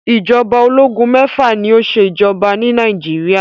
Ìjọba ológun mẹ́fà ni ó ṣe ìjọba ni Nàìjíríà.